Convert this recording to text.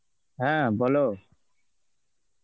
হ্যাঁ বলো.